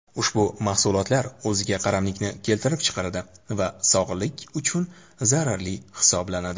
ushbu mahsulotlar o‘ziga qaramlikni keltirib chiqaradi va sog‘liq uchun zararli hisoblanadi.